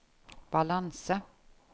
balanse